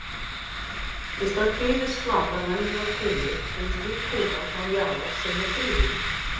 Í stað tvívíðs flatar venjulegrar kúlu hefur slík kúla þá jaðar sem er þrívíður.